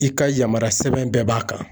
I ka yamaruya sɛbɛn bɛɛ b'a kan.